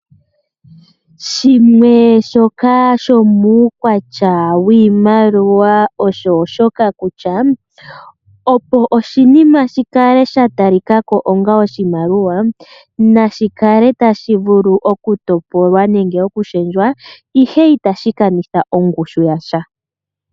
Shimwe shoka shomuukwatya wiimaliwa osho shoka kutya, opo oshinima shi kale sha talika ko onga oshimaliwa nashi kale tashi vulu okutopolwa nenge okushendjwa, ihe itashi kanitha ongushu ya sha.